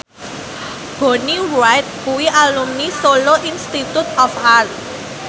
Bonnie Wright kuwi alumni Solo Institute of Art